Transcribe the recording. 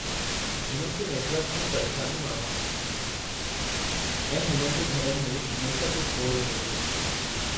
हुननि खे नेटवर्क जूं परेशानियूं आहिनि, ऐं हुननि जे घरनि में हमेशह कुझु गोड़ु रहे थो।